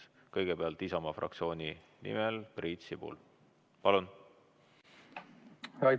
Kõigepealt Isamaa fraktsiooni nimel Priit Sibul, palun!